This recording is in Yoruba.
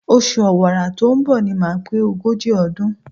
Oṣù Ọ̀wàrà tó ń bọ̀ ni màá pé ogójì ọdún.